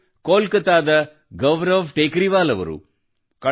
ಇವರು ಕೋಲ್ಕತ್ತಾದ ಗೌರವ್ ಟೆಕರೀವಾಲ್ ರವರು